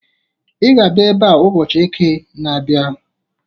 I ga abịa ebe a ụbọchị Eke na-abịa!